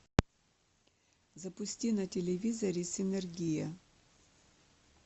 запусти на телевизоре синергия